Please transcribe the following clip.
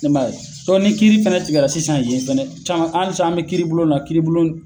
E ma ye dɔn ni kiiri fɛnɛ tigɛla sisan yen fɛnɛ caman ali sa an be kiiri bulon na kiiri bulon